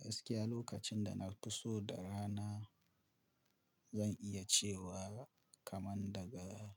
Gaskiya lokacin da na fi so da rana, zan iya cewa kaman daga